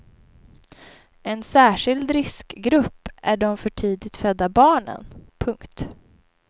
En särskild riskgrupp är de för tidigt födda barnen. punkt